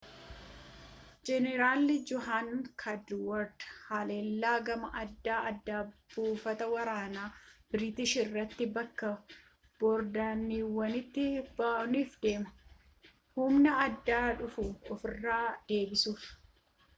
jeenaralii john cadwalder haallelaa gamaa adda addaa buufata waraanaa biiritiish irratti bakka boordentaawun'tti banuuf deema humna addaa dhufu ofiirraa deebisuuf